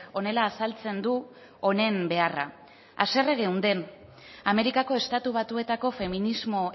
honela azaltzen du honen beharra haserre geunden amerikako estatu batuetako feminismo